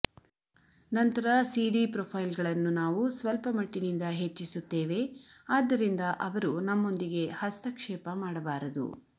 ನಂತರ ಸಿಡಿ ಪ್ರೊಫೈಲ್ಗಳನ್ನು ನಾವು ಸ್ವಲ್ಪಮಟ್ಟಿನಿಂದ ಹೆಚ್ಚಿಸುತ್ತೇವೆ ಆದ್ದರಿಂದ ಅವರು ನಮ್ಮೊಂದಿಗೆ ಹಸ್ತಕ್ಷೇಪ ಮಾಡಬಾರದು